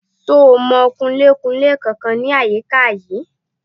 Ṣo mọ Kunlé-kunlé kankan ní àyíká yìí?